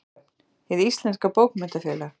Kaupmannahöfn: Hið íslenska bókmenntafélag.